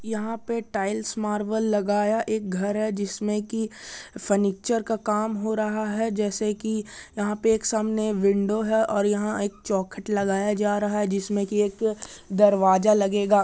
यहाँ पे tiles marble लगाया एक घर है जिसमें की फर्नीचर का काम हो रहा है | जैसे कि यहाँ पे एक सामने विंडो है और यहां एक चौखट लगाया जा रहा है जिसमें कि एक दरवाजा लगेगा।